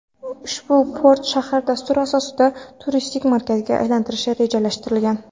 Ushbu port shahar dastur asosida turistik markazga aylantirilishi rejalashtirilgan.